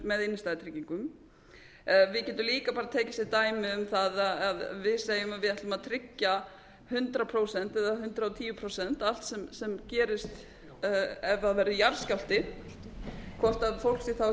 með innstæðutryggingum við getum líka bara tekið sem dæmi um það að við segjum að við ætlum að tryggja hundrað prósent eða hundrað og tíu prósent allt sem gerist ef það verður jarðskjálfti hvort fólk er þá ekki líklegra til þess